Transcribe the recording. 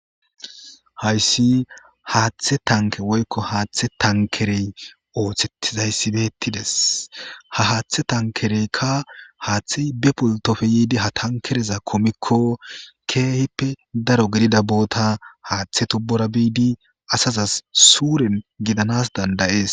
hayssi haaththe tanke woykko haaththe tankerey oothettizayssibettides ha haaththe tankereyka haaththe be pultopfe yiidi ha tankereza komikko keehippe daro gidida boota haaththe tubbura biidi asazas suuren gidanas dandayees